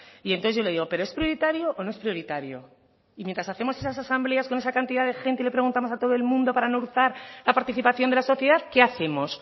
y entonces yo le digo pero es prioritario o no es prioritario y mientras hacemos esas asambleas con esa cantidad de gente y le preguntamos a todo el mundo para no hurtar la participación de la sociedad qué hacemos